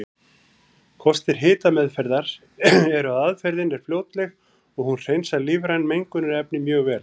Kostir hitameðferðar eru að aðferðin er fljótleg og hún hreinsar lífræn mengunarefni mjög vel.